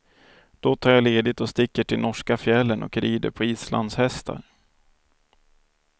Då tar jag ledigt och sticker till norska fjällen och rider på islandshästar.